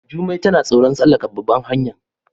Jumai tana tsoron tsallaka ɓabar hanyar.